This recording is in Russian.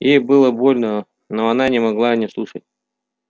ей было больно но она не могла не слушать